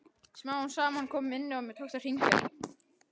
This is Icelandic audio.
Smám saman kom minnið og mér tókst að hringja.